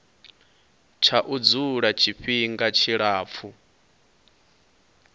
tsha u dzula tshifhinga tshilapfu